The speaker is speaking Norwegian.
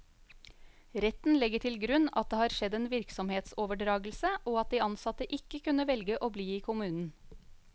Retten legger til grunn at det har skjedd en virksomhetsoverdragelse, og at de ansatte ikke kunne velge å bli i kommunen.